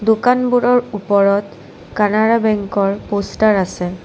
দোকানবোৰৰ ওপৰত কানাড়া বেঙ্কৰ প'ষ্টাৰ আছে।